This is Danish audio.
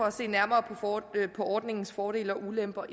at se nærmere på ordningens fordele og ulemper